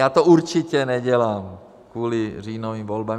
Já to určitě nedělám kvůli říjnovým volbám.